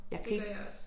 Det gør jeg også